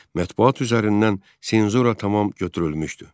Mətbuat üzərindən senzura tamam götürülmüşdü.